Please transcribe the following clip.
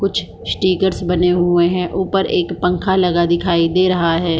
कुछ स्टिकर्स बने हुए है ऊपर एक पंखा लगा दिखाई दे रहा है।